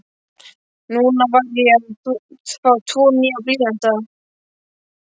Núna var ég að fá tvo nýja blýanta.